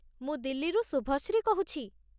ମୁଁ ଦିଲ୍ଲୀରୁ ଶୁଭଶ୍ରୀ କହୁଛି।